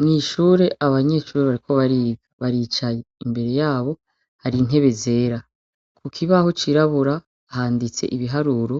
Mw'ishuri, abanyeshure bariko bariga baricaye. Imbere yabo har'intebe zera, kukibaho c'irabubura handitse ibiharura